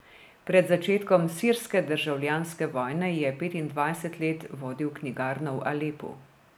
Pred začetkom sirske državljanske vojne je petindvajset let vodil knjigarno v Alepu.